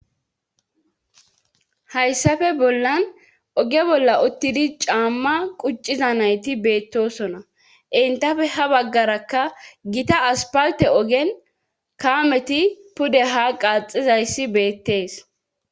haysape bollan oge bolla uttidi caama qucciza nayti beettoosona;entape ha baggarakka gita asppalte ogen kaameti pude haa qaaxxizayssi beettes.